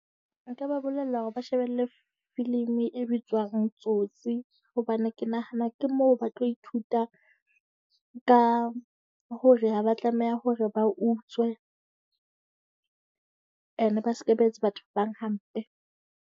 Nka ba bolella hore ba shebelle filimi e bitswang Tsotsi, hobane ke nahana ke moo ba tlo ithuta ka hore ha ba tlameha hore ba utswe. And ba sebetse batho ba bang hampe.